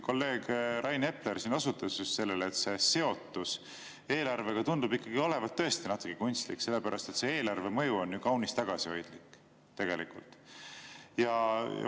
Kolleeg Rain Epler osutas sellele, et seotus eelarvega tundub ikkagi olevat tõesti natuke kunstlik, sellepärast et eelarveline mõju on kaunis tagasihoidlik tegelikult.